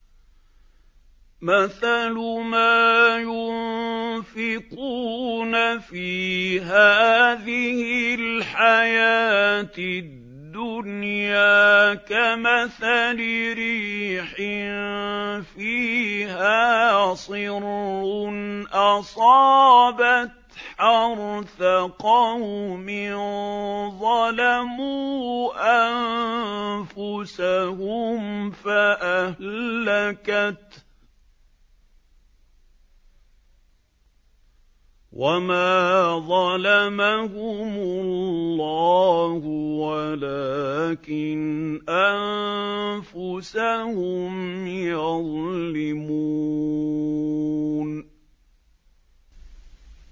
مَثَلُ مَا يُنفِقُونَ فِي هَٰذِهِ الْحَيَاةِ الدُّنْيَا كَمَثَلِ رِيحٍ فِيهَا صِرٌّ أَصَابَتْ حَرْثَ قَوْمٍ ظَلَمُوا أَنفُسَهُمْ فَأَهْلَكَتْهُ ۚ وَمَا ظَلَمَهُمُ اللَّهُ وَلَٰكِنْ أَنفُسَهُمْ يَظْلِمُونَ